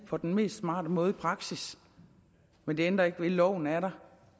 på den mest smarte måde i praksis men det ændrer ikke ved at loven er der